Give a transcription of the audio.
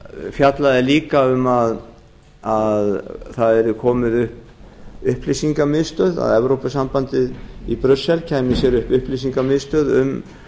fjallaði líka um að það yrði komið upp upplýsingamiðstöð að evrópusambandið í brussel kæmi sér upp upplýsingamiðstöð um